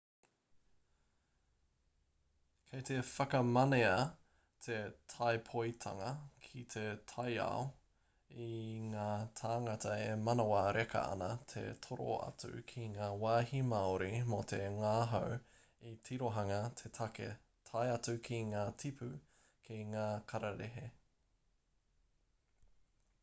kei te whakamanea te tāpoitanga ki te taiao i ngā tāngata e manawa reka ana te toro atu ki ngā wāhi māori mō te ngahau i te tirohanga te take tae atu ki ngā tipu ki ngā kararehe